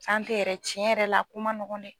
yɛrɛ cɛn yɛrɛ la o ko man nɔgɔn dɛ.